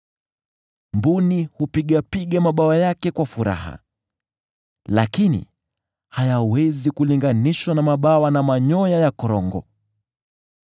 “Mbuni hupigapiga mabawa yake kwa furaha, lakini hayawezi kulinganishwa na mabawa na manyoya ya korongo.